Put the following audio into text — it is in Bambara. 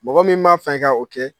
Mɔgɔ min b'a fɛ k o kɛ